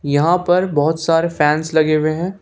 यहां पर बहुत सारे फैंस लगे हुए हैं।